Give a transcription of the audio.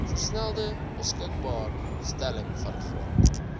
versnelde beskikbaarstelling vangrond